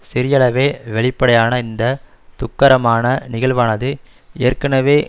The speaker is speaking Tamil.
சிறியளவே வெளிப்படையான இந்த துக்கரமான நிகழ்வானது ஏற்கனவே